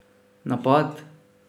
Napad?